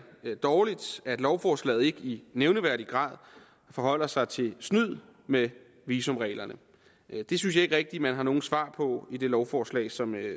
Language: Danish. dårligt at lovforslaget ikke i nævneværdig grad forholder sig til snyd med visumreglerne det synes jeg ikke rigtig man har nogen svar på i det lovforslag som